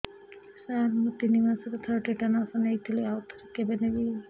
ସାର ମୁଁ ତିନି ମାସରେ ଥରେ ଟିଟାନସ ନେଇଥିଲି ଆଉ ଥରେ କେବେ ନେବି